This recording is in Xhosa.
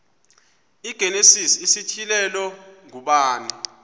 igenesis isityhilelo ngubani